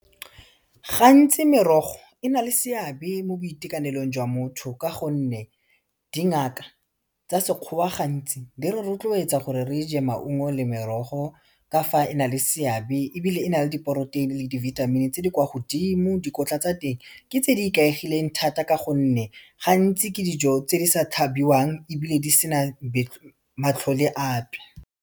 Gantsi merogo e na le seabe mo boitekanelong jwa motho, ka gonne dingaka tsa Sekgowa gantsi di re rotloetsa gore re je maungo le merogo, ka fa e na le seabe ebile e na le diporoteini le dibithamini tse di kwa godimo, dikotla tsa teng ke tse di ikaegileng thata ka gonne, gantsi ke dijo tse di sa tlhabiwang ebile di sena matlhole ape.